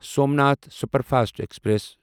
Somnath superfast express